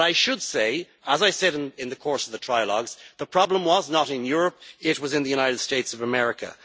But I should say, as I said in the course of the trilogues, the problem was not in Europe, it was in the United States of America.